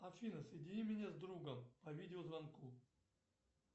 афина соедини меня с другом по видеозвонку